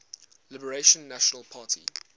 liberal national party